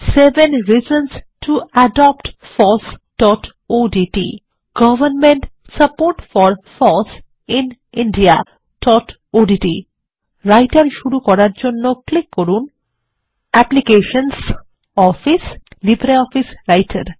seven reasons to adopt FOSSodt government support for foss in indiaওডিটি writer শুরু করার জন্য ক্লিক করুন অ্যাপ্লিকেশনস অফিস লিব্রিঅফিস রাইটের